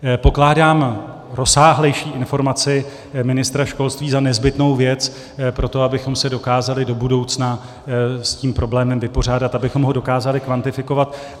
Pokládám rozsáhlejší informaci ministra školství za nezbytnou věc pro to, abychom se dokázali do budoucna s tím problémem vypořádat, abychom ho dokázali kvantifikovat.